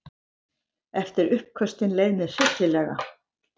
Eftir uppköstin leið mér hryllilega.